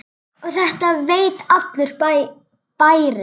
Og þetta veit allur bærinn?